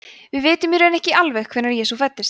við vitum í raun ekki alveg hvenær jesú fæddist